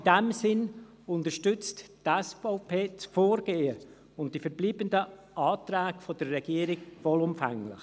In diesem Sinn unterstützt die SVP das Vorgehen der Regierung um die verbleibenden Anträge vollumfänglich.